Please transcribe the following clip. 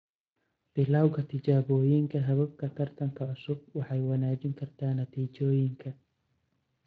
Bilawga tijaabooyinka hababka taranka cusub waxay wanaajin kartaa natiijooyinka.